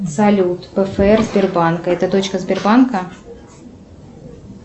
салют пфр сбербанка это точка сбербанка